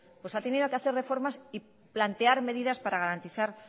pues ha tenido que hacer reformas y plantear medidas para garantizar